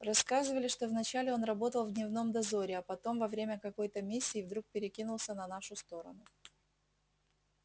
рассказывали что вначале он работал в дневном дозоре а потом во время какой-то миссии вдруг перекинулся на нашу сторону